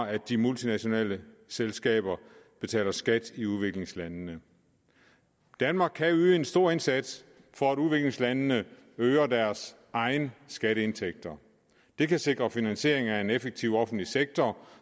at de multinationale selskaber betaler skat i udviklingslandene danmark kan yde en stor indsats for at udviklingslandene øger deres egne skatteindtægter det kan sikre finansiering af en effektiv offentlig sektor